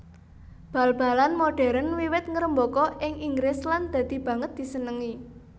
Bal balan modhèrn wiwit ngrembaka ing Inggris lan dadi banget disenengi